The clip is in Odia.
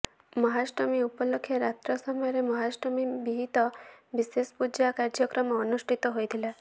ମହାଷ୍ଟମୀ ଉପଲକ୍ଷେ ରାତ୍ର ସମୟରେ ମହାଷ୍ଟମୀ ବିହିତ ବିଶେଷ ପୂଜା କାର୍ଯ୍ୟକ୍ରମ ଅନୁଷ୍ଠିତ ହୋଇଥିଲା